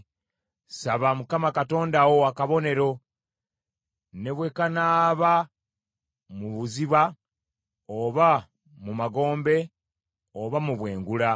“Saba Mukama Katonda wo akabonero, ne bwe kanaaba mu buziba, oba mu magombe oba mu bwengula.”